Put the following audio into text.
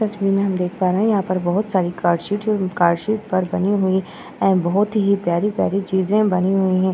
तस्वीर में हम देख पा रहे हैं यहाँ पर बहोत सारी कार्ड शीट कार्ड शीट पर बनी हुई है। बहोत ही प्यारी-प्यारी चीज़े बनी हुई हैं।